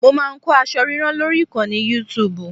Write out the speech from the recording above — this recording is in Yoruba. Mo máa ń kọ́ aṣọ ríran lórí ìkànnì Youtub